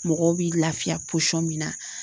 Mɔgɔ bi lafiya min na.